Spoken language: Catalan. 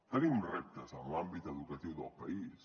tenim reptes en l’àmbit educatiu del país